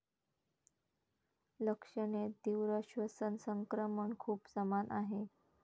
लक्षणे तीव्र श्वसन संक्रमण खूप समान आहे.